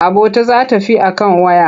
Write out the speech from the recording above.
Abota za ta fi a kan waya.